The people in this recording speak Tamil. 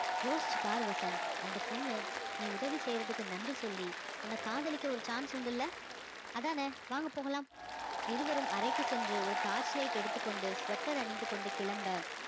யோசிச்சு பாரு வசந்த் அந்த பொண்ணு நீ உதவி செய்யறதுக்கு நன்றி சொல்லி உன்னை காதலிக்க ஒரு chance உண்டு இல்லை அதானே வாங்க போகலாம் இருவரும் அறைக்கு சென்று ஒரு torch light எடுத்துக்கொண்டு sweater அணிந்து கொண்டு கிளம்ப